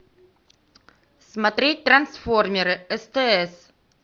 смотреть трансформеры стс